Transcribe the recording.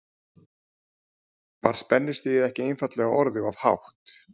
Var spennustigið ekki einfaldlega orðið of hátt?